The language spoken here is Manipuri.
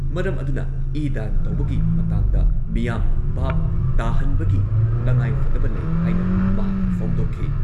ꯃꯔꯝ ꯑꯗꯨꯅ ꯏ ꯗꯥꯟ ꯇꯧꯕꯒꯤ ꯃꯇꯥꯡꯗ ꯃꯤꯌꯥꯝ ꯚꯥꯕ ꯇꯥꯍꯟꯕꯒꯤ ꯇꯉꯥꯏꯐꯗꯕ ꯂꯩ ꯍꯥꯏꯅ ꯃꯍꯥꯛꯅ ꯐꯣꯡꯗꯣꯛꯈꯤ ꯫